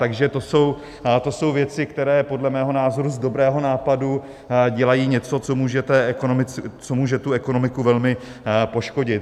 Takže to jsou věci, které podle mého názoru z dobrého nápadu dělají něco, co může tu ekonomiku velmi poškodit.